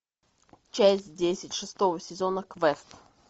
часть десять шестого сезона квест